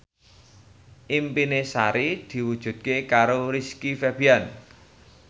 impine Sari diwujudke karo Rizky Febian